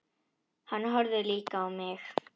Hann horfði líka á mig.